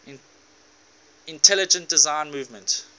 intelligent design movement